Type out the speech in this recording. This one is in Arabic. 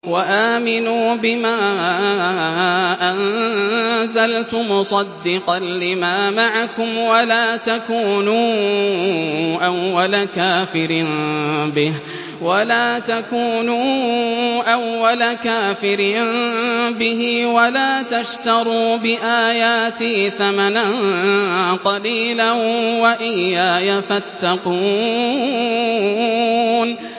وَآمِنُوا بِمَا أَنزَلْتُ مُصَدِّقًا لِّمَا مَعَكُمْ وَلَا تَكُونُوا أَوَّلَ كَافِرٍ بِهِ ۖ وَلَا تَشْتَرُوا بِآيَاتِي ثَمَنًا قَلِيلًا وَإِيَّايَ فَاتَّقُونِ